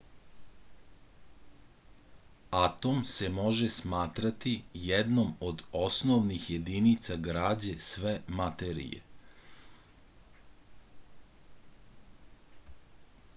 atom se može smatrati jednom od osnovnih jedinica građe sve materije